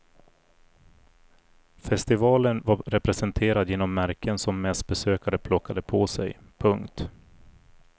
Festivalen var representerad genom märken som mässbesökare plockade på sig. punkt